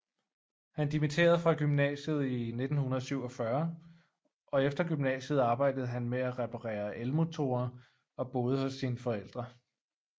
Han dimitterede fra gymnasiet i 1947 og efter gymnasiet arbejdede han med at reparerer elmotorer og boede hos sine forældre